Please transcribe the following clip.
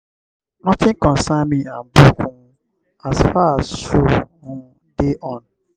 notin concern me and book um as far as show um dey on.